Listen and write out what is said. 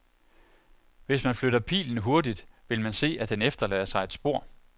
Hvis man flytter pilen hurtigt, vil man se at den efterlader sig et spor.